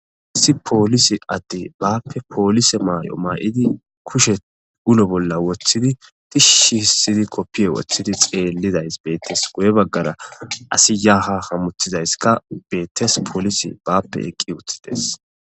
Issi poolisi adde baappe poolise maay7o may7idi kushe ulo bolla woththidi tishshi hissidi koppiye woththidi xeellidays beettes goye baggara asi yaaha hamuthizayska beettes poolisi baappe eqqi uttides